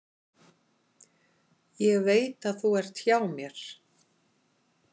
Ég veit að þú ert hjá mér.